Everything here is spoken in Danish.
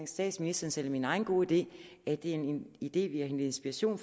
statsministerens eller min egen gode idé det er en idé vi har hentet inspiration